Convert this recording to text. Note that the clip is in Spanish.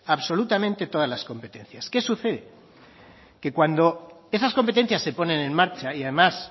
absolutamente todas las competencias qué sucede que cuando esas competencias se ponen en marcha y además